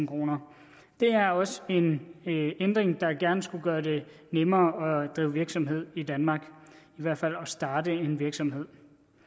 kroner det er også en ændring der gerne skulle gøre det nemmere at drive virksomhed i danmark i hvert fald at starte en virksomhed